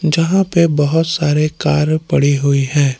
जहां पे बहुत सारे कार पड़ी हुई है।